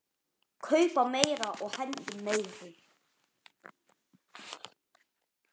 Kaupa meira og hendum meiru.